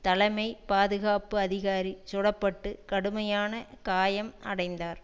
தலைமை பாதுகாப்பு அதிகாரி சுட பட்டு கடுமையான காயம் அடைந்தார்